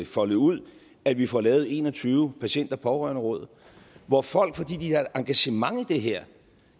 foldet ud at vi får lavet en og tyve patient og pårørenderåd hvor folk fordi de har engagement i det her